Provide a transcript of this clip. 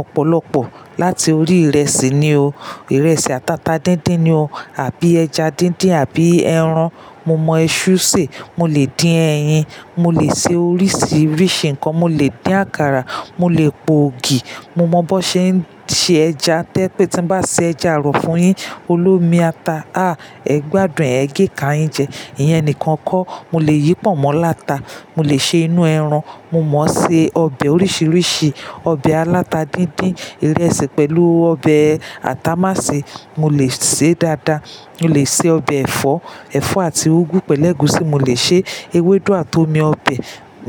Ọ̀pọ̀lọpọ̀ láti orí ìrẹsì ni o. Ìrẹsì àtàtà díndín ni o, àbí ẹja díndín, àbí ẹran. Mo mọ iṣu sè, mo lè dín ẹyin, mo lè se oríṣiríṣi nǹkan, mo lè dín àkàrà, mo lè po ògì. Mo mọ bó ṣe ń se ẹja to je pé tí ń bá ṣe ẹja arọ̀ fún yín, olómi ata, à ẹ gbádùn, ẹ gé ka yin jẹ. Ìyẹn nìkan kọ́. Mo lè yí pọ̀nmọ́ lata, mo lè ṣe inú ẹran, mo mọ n ṣe ọbẹ̀ oríṣiríṣi. Ọbẹ̀ aláta díndín, ìrẹsì pẹ̀lú ọbẹ̀ atamàsẹ́ mo lè sè é dáadáa. Mo lè se ọbẹ̀ ẹ̀fọ́, ẹ̀fọ́ àti úgú pẹ̀lú ẹ̀gúsí mo lè ṣe, ewédú àti omi ọbẹ̀